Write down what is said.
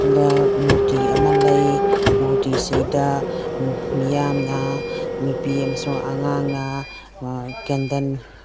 ꯃꯨꯔꯇꯤ ꯑꯃ ꯂꯩ ꯃꯨꯔꯇꯤꯁꯤꯗ ꯃꯤꯌꯥꯝꯅ ꯅꯨꯄꯤ ꯑꯝꯁꯨꯡ ꯑꯉꯥꯡ ꯃꯃ ꯀꯦꯟꯗꯟ --